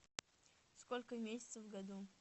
сколько месяцев в году